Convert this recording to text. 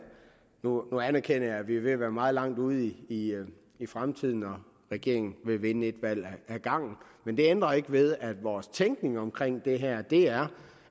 nu anerkender jeg at vi er ved at være meget langt ude i i fremtiden og regeringen vil vinde et valg ad gangen men det ændrer ikke ved at vores tænkning omkring det her er